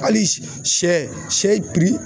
Hali sɛ sɛ